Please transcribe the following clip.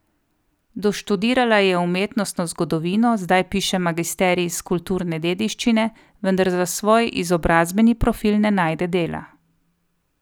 Doštudirala je umetnostno zgodovino, zdaj piše magisterij iz kulturne dediščine, vendar za svoj izobrazbeni profil ne najde dela.